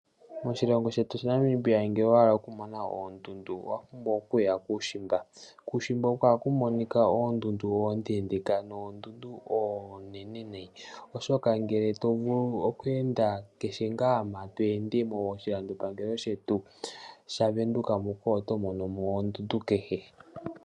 Moshilongo shetu sha Namibia ngele owa hala okumona oondundu owa pumbwa okuya kuushimba. Kuushimba oko haku monika oondundu oondendeka noondundu oonene nayi, oshoka ngele to vulu oku enda kehe ngaa mpoka to ende moshilandopangelo shetu sha Venduka muka, oto mono mo oondundu kehe.